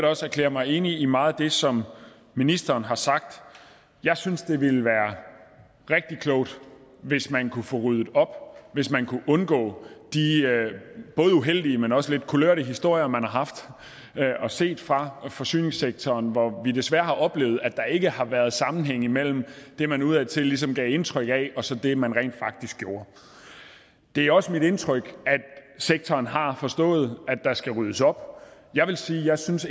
også erklære mig enig i meget af det som ministeren har sagt jeg synes det ville være rigtig klogt hvis man kunne få ryddet op hvis man kunne undgå de både uheldige men også lidt kulørte historie man har set fra forsyningssektoren hvor vi desværre har oplevet at der ikke har været sammenhæng mellem det man udadtil ligesom gav indtryk af og så det man rent faktisk gjorde det er også mit indtryk at sektoren har forstået at der skal ryddes op jeg vil sige at jeg synes